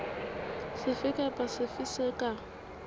sefe kapa sefe se ka